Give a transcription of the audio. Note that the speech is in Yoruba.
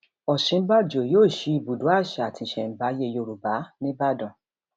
òsínbàbò yóò sí ibùdó àṣà àti ìṣẹmáyé yorùbá nìbàdàn